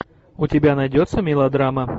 у тебя найдется мелодрама